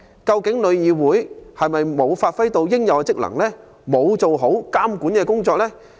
究竟旅議會有否發揮應有的職能及做好監管工作？